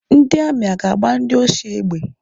Ndị amị a ga-agba ndị oshi egbe?